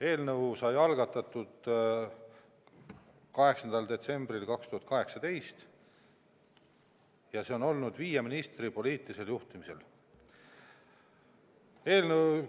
Eelnõu sai algatatud 8. detsembril 2018 ja see töö on käinud viie ministri poliitilisel juhtimisel.